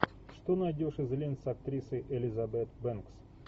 что найдешь из лент с актрисой элизабет бэнкс